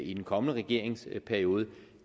i den kommende regeringsperiode